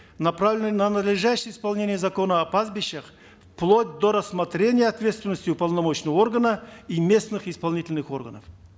направленные на надлежащее исполнение закона о пастбищах вплоть до рассмотрения ответственности уполномоченного органа и местных исполнительных органов